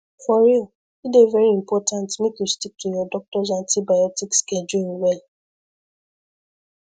for real e dey very important make you stick to your doctors antibiotic schedule well